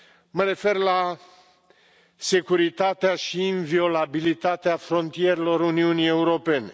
Mă refer la securitatea și inviolabilitatea frontierelor Uniunii Europene.